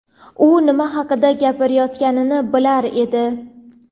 U nima haqida gapirayotganini bilar edi.